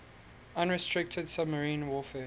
unrestricted submarine warfare